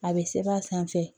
A bɛ sɛbɛn a sanfɛ